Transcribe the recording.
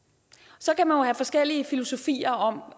så kan man jo have forskellige filosofier om